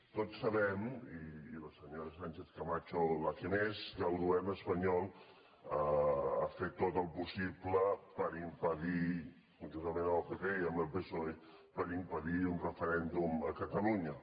tots sabem i la senyora sánchez camacho la que més que el govern espanyol ha fet tot el possible per impedir conjuntament amb el pp i amb el psoe un referèndum a catalunya